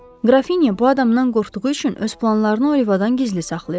Qrafinya bu adamdan qorxduğu üçün öz planlarını Olivadan gizli saxlayırdı.